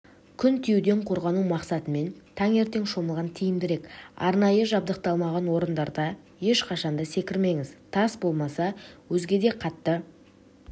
күн тиюден қорғану мақсатымен таңертең шомылған тиімдірек арнайы жабдықталмаған орындарда ешқашанда секірмеңіз тас болмаса өзгеде қатты